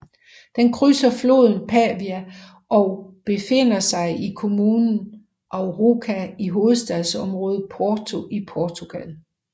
Den krydser floden Paiva og befinder sig i kommunen Arouca i hovedstadsområdet Porto i Portugal